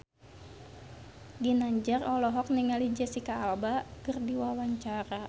Ginanjar olohok ningali Jesicca Alba keur diwawancara